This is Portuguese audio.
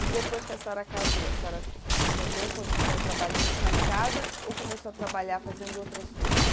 E depois que a senhora casou, a senhora também continuou trabalhando só em casa ou começou a trabalhar fazendo outras coisas?